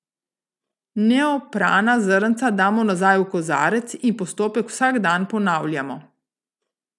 Neoprana zrnca damo nazaj v kozarec in postopek vsak dan ponavljamo.